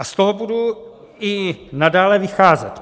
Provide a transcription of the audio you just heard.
A z toho budu i nadále vycházet.